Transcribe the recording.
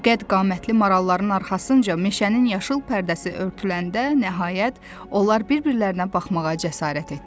Bu qədqamətli maralların arxasınca meşənin yaşıl pərdəsi örtüləndə nəhayət onlar bir-birlərinə baxmağa cəsarət etdi.